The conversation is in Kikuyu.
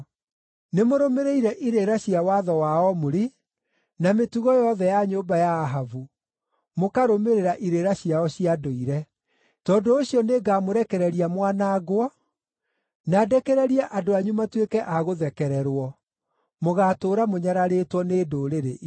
Nĩmũrũmĩrĩire irĩra cia watho wa Omuri na mĩtugo yothe ya nyũmba ya Ahabu, mũkarũmĩrĩra irĩra ciao cia ndũire. Tondũ ũcio nĩngamũrekereria mwanangwo, na ndekererie andũ anyu matuĩke a gũthekererwo; mũgaatũũra mũnyararĩtwo nĩ ndũrĩrĩ icio.”